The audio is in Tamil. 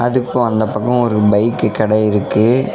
அதுக்கு அந்த பக்ககோ ஒரு பைக்கு கட இருக்கு.